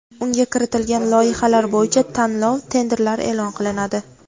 unga kiritilgan loyihalar bo‘yicha tanlov (tender)lar eʼlon qilinadi.